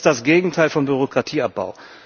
Das ist das Gegenteil von Bürokratieabbau.